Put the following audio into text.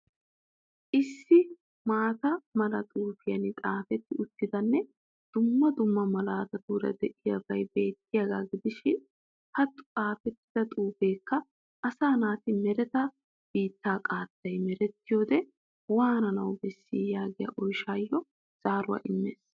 Issi maata mala xuufiyan xaafetyi uttidanme dumma dumma malaatatuura de'iyabay beettiyaagaa gidishiin ha xaafettida xuufeekka asa naati mereta biittaa qaattay merettiyode waananawu beessi yagiya oyshshaayo zaaruwa immees.